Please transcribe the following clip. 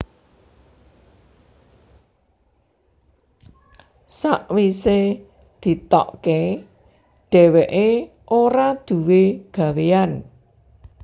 Sawise ditokke dheweke ora duwé gawéyan